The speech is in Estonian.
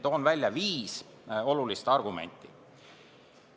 Toon välja viis olulist argumenti.